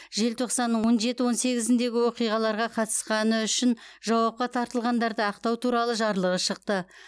желтоқсанның он жеті он сегізіндегі оқиғаларға қатысқаны үшін жауапқа тартылғандарды ақтау туралы жарлығы шықты